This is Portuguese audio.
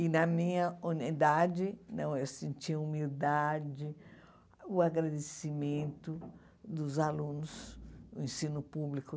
E na minha unidade, não eu sentia humildade, o agradecimento dos alunos do ensino público.